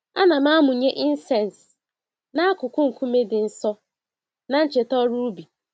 Ana m amụnye incense n'akụkụ nkume dị nsọ, na ncheta ọrụ ubi